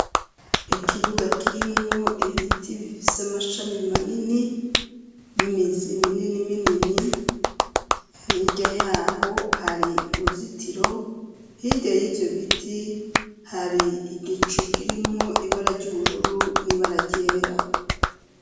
Ikibuga kirimwo ibiti bifise amashami manini n'imizi minini minini. Hirya y'aho hari uruzitiro, hirya y'ivyo biti hari igicu kirimwo ibara ry'ubururu n'ibara ryera.